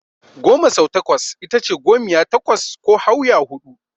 Goma sau takwas itace gomiya takwas ko Hauya huɗu.